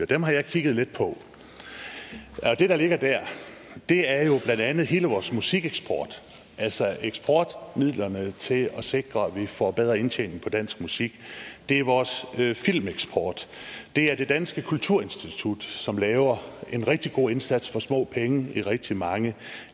dem har jeg kigget lidt på det der ligger der er jo blandt andet hele vores musikeksport altså eksportmidlerne til at sikre at vi får bedre indtjening på dansk musik det er vores filmeksport det er det dansk kulturinstitut som laver en rigtig god indsats for små penge i rigtig mange